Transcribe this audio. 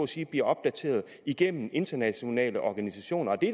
sige bliver opdateret igennem internationale organisationer det